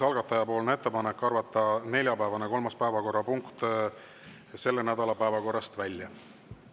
Algataja ettepanek on arvata neljapäevane kolmas päevakorrapunkt selle nädala päevakorrast välja.